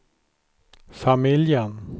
familjen